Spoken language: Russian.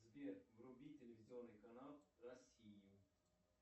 сбер вруби телевизионный канал россию